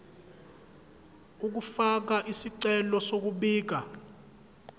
ukufaka isicelo sokubika